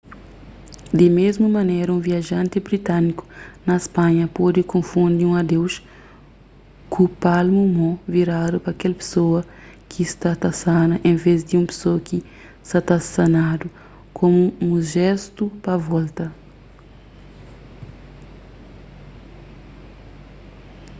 di mésmu manera un viajanti britániku na spanha pode konfundi un adeuz ku palmu mon viradu pa kel pesoa ki sa ta sana enves di un pesoa ki sa ta sanadu komu un jéstu pa volta